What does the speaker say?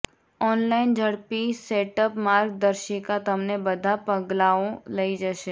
online ઝડપી setup માર્ગદર્શિકા તમને બધા પગલાંઓ લઈ જશે